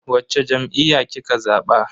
Wacce jam'iyya kika zaba?